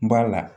N b'a la